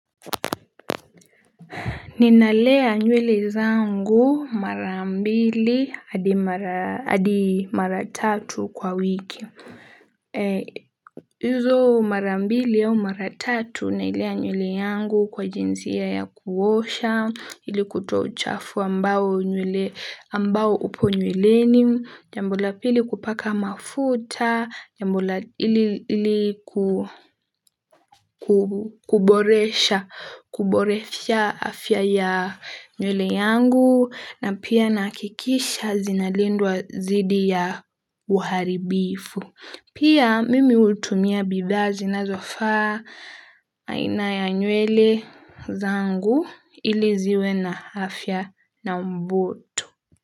Ninalea nywwle zangu mara mbili hadi mara tatu kwa wiki. Hizo marambili au maratatu nailea nywele yangu kwa jinsi ya kuosha. Ili kutoa uchafu ambao upo nyweleni. Jambo la pili kupaka mafuta. Jambo la ili kuboresha afya ya nywele yangu. Na pia nahakikisha zinalindwa zidi ya waharibifu. Pia mimi hutumia bidhaa zinazofaa na aina ya nywele zangu ili ziwe na afya na mbutu.